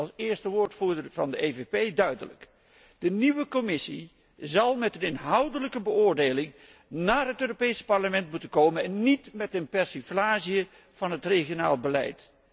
Ik zeg u als eerste woordvoerder van de PPE duidelijk, de nieuwe Commissie zal met een inhoudelijke beoordeling naar het Europees Parlement moeten komen en niet met een persiflage van het regionaal beleid.